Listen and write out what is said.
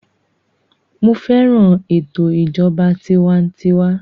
Mo fẹ́ràn ètò ìjọba tiwantiwa